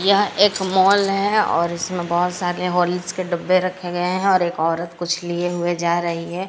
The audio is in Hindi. यह एक मॉल है और इसमें बहोत सारे हॉर्लिक्स के डब्बे रखे गए हैं और एक औरत कुछ लिए हुए जा रही है।